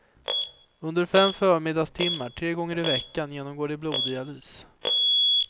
Under fem förmiddagstimmar tre gånger i veckan genomgår de bloddialys.